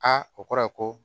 Aa o kɔrɔ ye ko